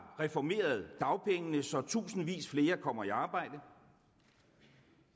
reformeret dagpengene så tusindvis flere kommer i arbejde